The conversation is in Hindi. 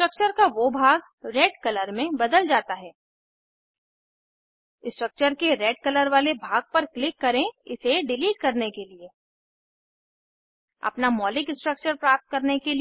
सेलेक्ट मूव फ्लिप और रोटेट करें ऑब्जेक्ट्स को कैसे वर्गीकरण और पंक्तिबद्ध करें ऑब्जेक्ट्स को कैसे कट कॉपी पेस्ट और डिलीट करें एक नियत कार्य की तरह इरेजर टूल उपयोग करें और n आक्टेन स्ट्रक्चर को n पेंटाने में बदलें n हेक्साने स्ट्रक्चर को इथेन में बदलें नियत कार्य का आउटपुट इस तरह दिखना चाहिए